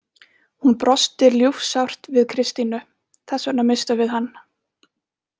Hún brosti ljúfsárt við Kristínu: Þess vegna misstum við hann.